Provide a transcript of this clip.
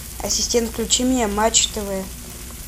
ассистент включи мне матч тв